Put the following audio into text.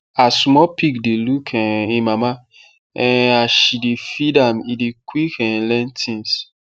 as small pig dey look um e mama um as she dey feed am e dey quick um learn things